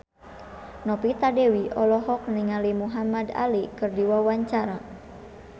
Novita Dewi olohok ningali Muhamad Ali keur diwawancara